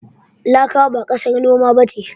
Laka ba ƙasar noma ba ce.